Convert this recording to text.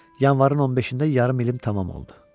Yanvarın 15-də yarım ilim tamam oldu.